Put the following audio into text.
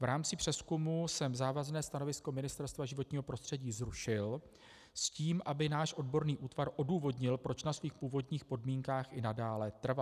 V rámci přezkumu jsem závazné stanovisko Ministerstva životního prostředí zrušil s tím, aby náš odborný útvar odůvodnil, proč na svých původních podmínkách i nadále trvá.